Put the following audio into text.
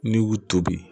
N'i y'u tobi